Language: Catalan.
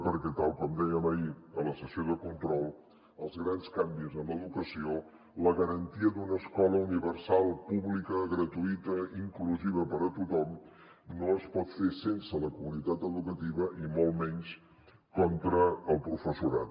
perquè tal com dèiem ahir a la sessió de control els grans canvis en l’educació la garantia d’una escola universal pública gratuïta i inclusiva per a tothom no es poden fer sense la comunitat educativa i molt menys contra el professorat